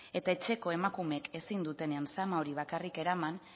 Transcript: eta etxeko emakumeek ezin dutenen zama hori bakarrik eraman